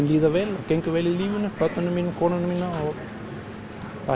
líður vel gengur vel í lífinu börnunum mínum og konunni minni það